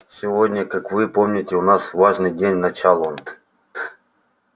сегодня как вы помните у нас важный день начал он